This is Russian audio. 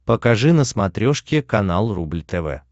покажи на смотрешке канал рубль тв